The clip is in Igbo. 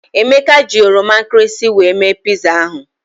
Emeka ji oroma nkịrịsị wee mee piza ahụ.